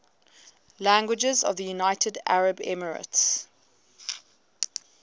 languages of the united arab emirates